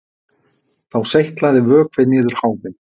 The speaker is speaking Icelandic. Þá seytlaði vökvi niður háfinn